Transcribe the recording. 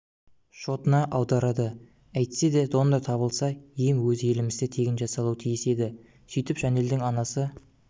шотына аударады әйтседе донор табылса ем өз елімізде тегін жасалуы тиіс еді сөйтіп жанелдің анасы